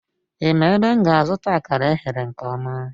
Ị ma ebe m ga-azụta akara eghere nke ọma?